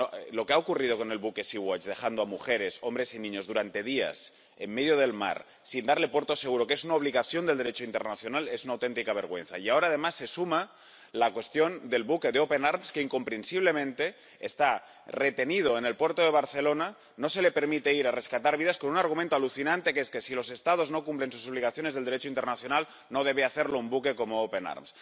Lo que ha ocurrido con el buque de Sea-Watch dejando a mujeres, hombres y niños durante días en medio del mar sin darle puerto seguro, que es una obligación del Derecho internacional, es una auténtica vergüenza. Y ahora, además, se suma la cuestión del buque de Open Arms, que, incomprensiblemente, está retenido en el puerto de Barcelona. No se le permite ir a rescatar vidas con un argumento alucinante que si los Estados no cumplen sus obligaciones del Derecho internacional, no debe hacerlo un buque como Open Arms.